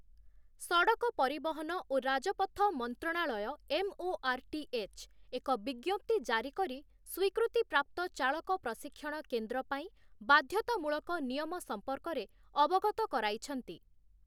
ସଡ଼କ ପରିବହନ ଓ ରାଜପଥ ମନ୍ତ୍ରଣାଳୟ ଏମ୍‌.ଓ.ଆର୍‌.ଟି.ଏଚ୍‌. ଏକ ବିଜ୍ଞପ୍ତି ଜାରି କରି ସ୍ୱୀକୃତିପ୍ରାପ୍ତ ଚାଳକ ପ୍ରଶିକ୍ଷଣ କେନ୍ଦ୍ର ପାଇଁ ବାଧ୍ୟତାମୂଳକ ନିୟମ ସମ୍ପର୍କରେ ଅବଗତ କରାଇଛନ୍ତି ।